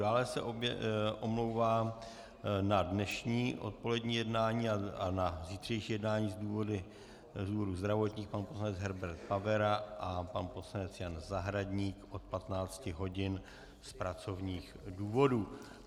Dále se omlouvá na dnešní odpolední jednání a na zítřejší jednání z důvodů zdravotních pan poslanec Herbert Pavera a pan poslanec Jan Zahradník od 15 hodin z pracovních důvodů.